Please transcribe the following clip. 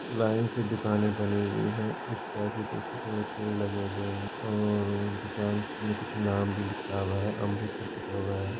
line से दुकाने बनी हुई हैं | इस तरफ देखिये थोड़े पेड़ लगे हुए हैं और दुकान में कुछ नाम भी लिखा हुआ है अमृत करके लिखा हुआ है |